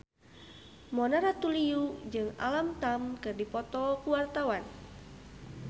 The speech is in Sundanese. Mona Ratuliu jeung Alam Tam keur dipoto ku wartawan